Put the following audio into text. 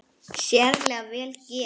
Sérlega vel gert.